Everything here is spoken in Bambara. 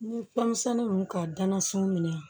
N ye fɛn misɛnnin ninnu ka danna sini minɛ